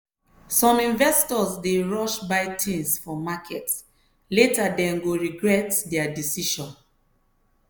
some investors dey rush buy things for market later dem go regret their decision.